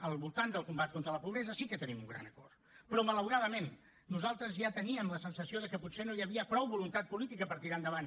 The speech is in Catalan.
al voltant del combat contra la pobresa sí que tenim un gran acord però malauradament nosaltres ja teníem la sensació de que potser no hi havia prou voluntat política per tirar lo endavant